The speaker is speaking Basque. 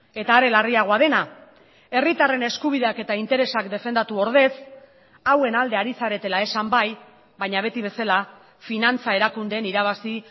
eta are larriagoa dena herritarren eskubideak eta interesak defendatu ordez hauen alde ari zaretela esan bai baina beti bezala finantza erakundeen irabazi